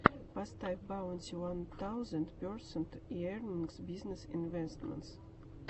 поставь баунти уан таузенд персент эернингс бизнесс инвэстментс